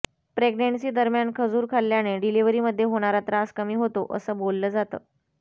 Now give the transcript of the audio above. प्रेग्नेंसीदरम्यान खजूर खाल्ल्याने डिलिव्हरीमध्ये होणारा त्रास कमी होतो असं बोललं जातं